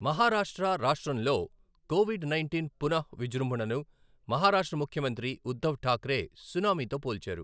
మహారాష్ట్ర రాష్ట్రంలో covid nineteen పునఃవిజృంభణను మహారాష్ట్ర ముఖ్యమంత్రి ఉద్ధవ్ ఠాక్రే సునామీతో పోల్చారు.